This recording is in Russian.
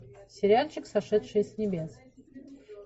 сериальчик сошедшие с небес